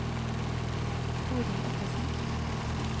Torild Ottesen